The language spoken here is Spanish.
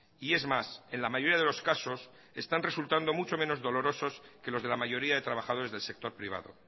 y es más en la mayoría de los casos están resultando mucho menos dolorosos que los de la mayoría de trabajadores del sector privado